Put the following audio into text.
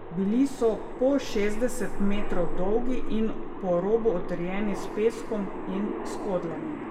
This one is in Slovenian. Bili so po šestdeset metrov dolgi in po robu utrjeni s peskom in skodlami.